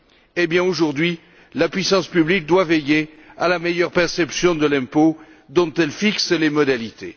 Eh bien, aujourd'hui, la puissance publique doit veiller à la meilleure perception de l'impôt dont elle fixe les modalités.